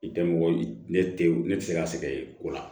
I tɛ mɔgɔ ne te ne tɛ se ka sɛgɛn ye o la